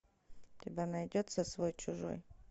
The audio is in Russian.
у тебя найдется свой чужой